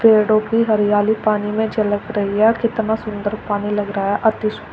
पेड़ों की हरियाली पानी में झलक रही है कितना सुंदर पानी लग रहा है अति सुं--